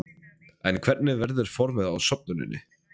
En hvernig verður formið á söfnuninni?